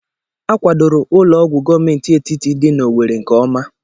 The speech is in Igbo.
A kwadoro Ụlọ ọgwụ gọọmenti etiti dị na Owerri nke ọma.